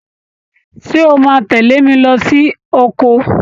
Ṣé o máa tẹlé mi lo sí oko?